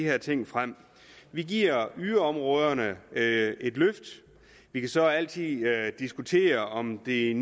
her ting frem vi giver yderområderne et løft vi kan så altid diskutere om det er